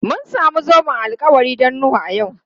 Mun samu zoben alkawari don Nuhu a yau.